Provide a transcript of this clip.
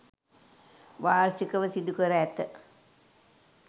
වාර්ෂිකව සිදු කර ඇත.